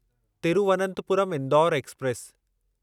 Thiruvananthapuram Indore express